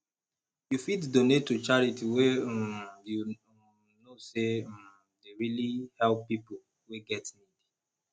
you fit donate to charity wey um you um know sey um dey really help pipo wey get need